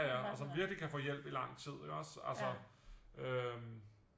Ja ja og som virkelig kan få hjælp i lang tid ikke også altså